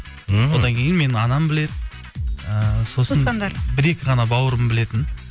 мхм одан кейін менің анам біледі ы бір екі ғана бауырым білетін